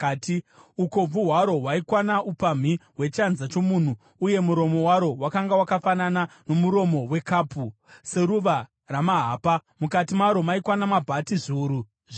Ukobvu hwaro hwaikwana upamhi hwechanza chomunhu , uye muromo waro wakanga wakafanana nomuromo wekapu, seruva ramahapa. Mukati maro maikwana mabhati zviuru zviviri .